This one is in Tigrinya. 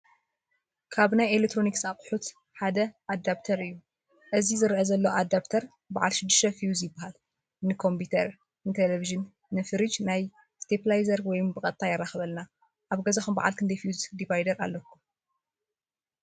ካብ ናይ ኤሌክትሮኒክስ ኣቑሑት ሓደ ኣዳኘተር እዩ፡፡ እዚ ዝረአ ዘሎ ኣዳኘተር ባዓል 6+ ፊውዝ ይባሃል፡፡ ንኮምፒተር፣ ንቴሌቪዥንን ንፊሪጅን ናብ ስቴኘላየዘር ወይ ብቐጥታ የራኽበለና፡፡ ኣብ ገዛኹም ባዓል ክንደይ ፊውዝ ዲቫይደር ኣለኩም?